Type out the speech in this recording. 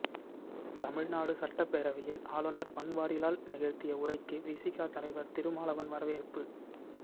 தமிழ்நாடு சட்டப்பேரவையில் ஆளுநர் பன்வாரிலால் நிகழ்த்திய உரைக்கு விசிக தலைவர் திருமாவளவன் வரவேற்பு